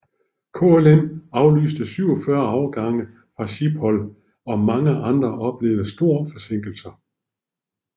KLM aflyste 47 afgange fra Schiphol og mange andre oplevede store forsinkelser